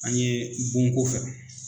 An ɲe bonko kɛ.